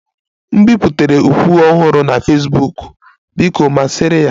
M biputere ukwu ọhụrụ na Fesbuk, biko masịrị ya